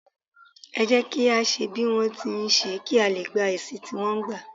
é jẹ kí à ṣe bí wọn ti n ṣe, kí a lé gbá èsì tí wọ́n gba